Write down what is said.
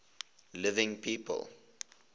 living people